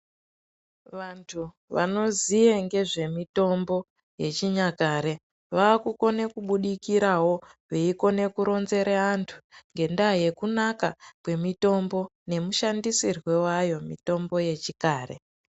Vantu vanoziye ngezvemitombo yechinyakare vakukone kubudikiravo veikone kuronzere vantu, ngendaa yekunaka kwemitombo nemushandisirwo vayo mitombo yechikare.